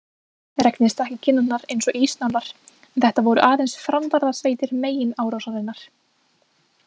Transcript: Regnið stakk í kinnarnar eins og ísnálar en þetta voru aðeins framvarðarsveitir meginárásarinnar.